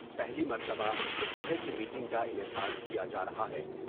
پہلی مرتبہ اس طرح کی میٹنگ کا انعقاد کیا جارہا ہے ۔